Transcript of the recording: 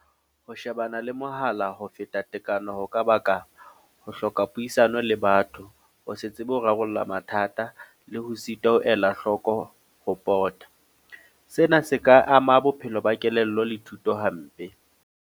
Ho shebana le mohala ho feta tekano. Ho ka baka ho hloka puisano le batho. Ho se tsebe ho rarolla mathata, le ho sitwa ho ela hloko ho pota. Sena se ka ama bophelo ba kelello le thuto hampe.